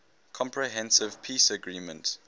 comprehensive peace agreement